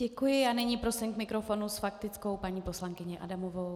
Děkuji a nyní prosím k mikrofonu s faktickou paní poslankyně Adamová.